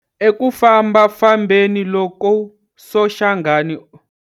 Eku fambafambeni loku Soshangana.